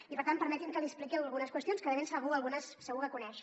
i per tant permeti’m que li expliqui algunes qüestions que de ben segur algunes segur que les coneix